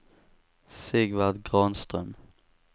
Sigvard Granström